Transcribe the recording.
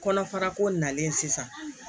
Kɔnɔfara ko nalen sisan